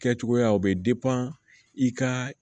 Kɛcogoyaw bɛ i ka